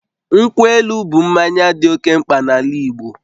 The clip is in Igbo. Nkwụ elu bụ mmanya dị oke mkpa n'ala Igbo